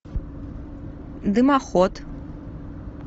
дымоход